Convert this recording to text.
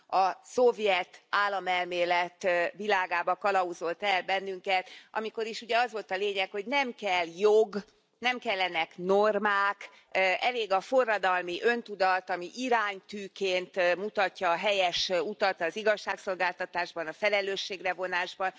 A szovjet államelmélet világába kalauzolt el bennünket, amikor is, ugye, az volt a lényeg, hogy nem kell jog, nem kellenek normák, elég a forradalmi öntudat, ami iránytűként mutatja a helyes utat, az igazságszolgáltatásban a felelősségre vonás van.